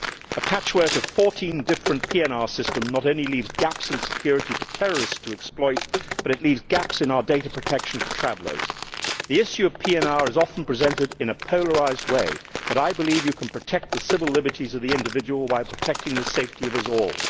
A patchwork of 14 different PNR systems not only leaves gaps in security for terrorists to exploit, but it leaves gaps in our data protection for travellers. The issue of PNR is often presented in a polarised way, but I believe you can protect the civil liberties of the individual while protecting the safety of us all.